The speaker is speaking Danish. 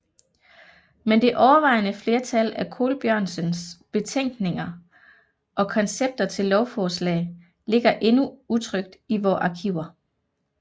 Men det overvejende flertal af Colbjørnsens betænkninger og koncepter til lovforslag ligger endnu utrykt i vore arkiver